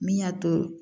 Min y'a to